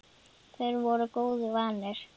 Þeir voru góðu vanir.